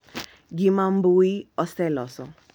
Gima mbui oseloso.